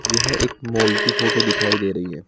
यह एक मॉल की फोटो दिखाई दे रही है।